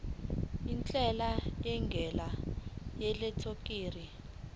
intela ngendlela yeelektroniki